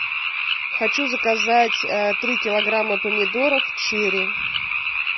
хочу заказать три килограмма помидоров черри